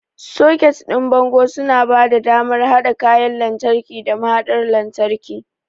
Soket ɗin bango suna ba da damar haɗa kayan lantarki da mahaɗar lantarki.